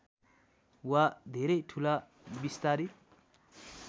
वा धेरै ठूला विस्तारित